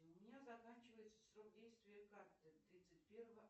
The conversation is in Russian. у меня заканчивается срок действия карты тридцать первого